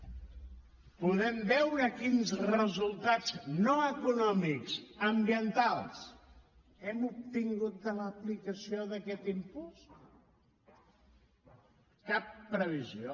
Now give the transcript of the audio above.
podem veure quins resultats no econòmics ambientals hem obtingut de l’aplicació d’aquest impost cap previsió